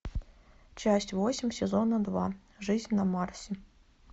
часть восемь сезона два жизнь на марсе